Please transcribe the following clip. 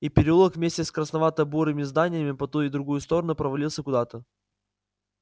и переулок вместе с красновато-бурыми зданиями по ту и другую сторону провалился куда-то